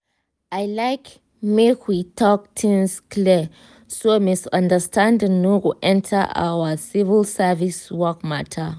i like make we talk things clear so misunderstanding no go enter our civil service work matter.